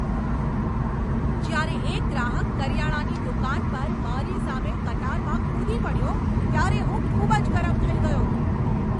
જ્યારે એક ગ્રાહક કરિયાણાની દુકાન પર મારી સામે કતારમાં કૂદી પડ્યો ત્યારે હું ખૂબ જ ગરમ થઈ ગયો.